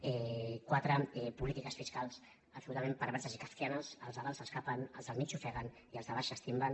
quatre polítiques fiscals abso·lutament perverses i kafkianes els de dalt s’escapen els del mig s’ofeguen i els de baix s’estimben